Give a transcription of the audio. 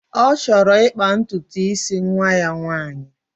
Ọ chọrọ ịkpa ntutu isi nwa ya nwaanyị